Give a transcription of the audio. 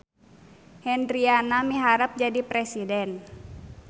Hendriana miharep jadi presiden